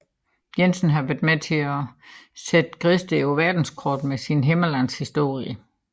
Jensen har været med til at sætte Gedsted på verdenskortet med sine Himmerlandshistorier